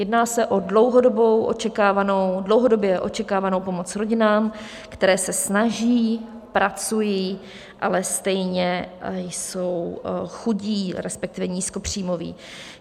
Jedná se o dlouhodobě očekávanou pomoc rodinám, které se snaží, pracují, ale stejně jsou chudé, respektive nízkopříjmové.